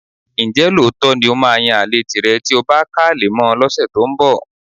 Ǹjẹ́ lóòótọ́ ni ó máa yan àlè tìrẹ tí o bá ká ale mọ́ ọn lọ́sẹ̀ tó ń bọ̀?